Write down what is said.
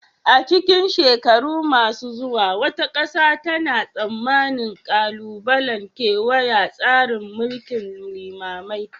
A cikin shekaru masu zuwa, wata ƙasa tana tsammanin ƙalubalen kewaya tsarin mulkin limamai